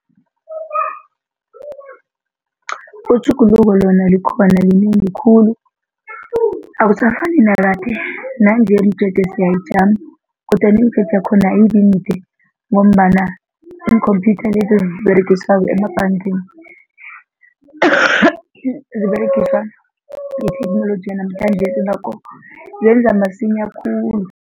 Itjhuguluko lona likhona linengi khulu akusafani nakade nanje imijeje siyayijama kodwana imijeje yakhona ayibi mide ngombana iinkhomphyutha lezi aziberegiswako emabhangeni ziberegiswa ngetheknoloji yanamhlanjesi iingakho zenza masinya khulu.